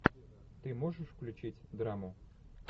ты можешь включить драму